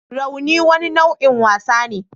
Rauni wani nau'in wasa ne